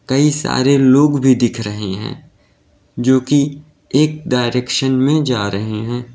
कई सारे लोग भी दिख रहे हैं जो की एक डायरेक्शन में जा रहे हैं।